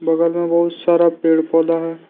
बगल में बहुत सारा पेड़ पौधा है।